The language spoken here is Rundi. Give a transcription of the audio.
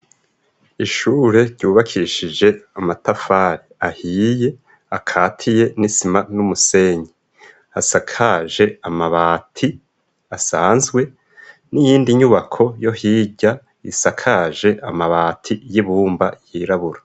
Ishure ryubakishije amatafari ahiye, akatiye n'isima n'umusenyi. Asakaje amabati asanzwe n'iyindi nyubako yo hirya isakaje amabati y'ibumba yirabura.